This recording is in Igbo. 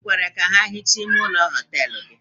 I kweere ka ha hichaa ime ụlọ họtelụ gị?